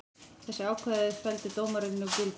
Þessi ákvæði felldi dómarinn úr gildi